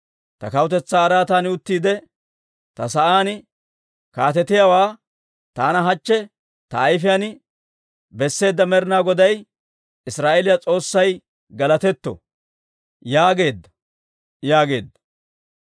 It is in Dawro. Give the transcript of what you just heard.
‹Ta kawutetsaa araatan uttiide ta sa'aan kaatetiyaawaa taana hachche ta ayfiyaan besseedda Med'inaa Goday Israa'eeliyaa S'oossay galatetto!› yaageedda» yaageedda.